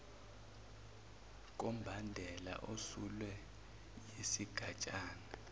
kombandela osulwe yisigatshana